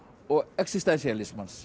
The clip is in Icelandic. og